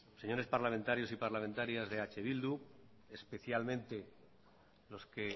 señores parlamentarios y parlamentarias de eh bildu especialmente los que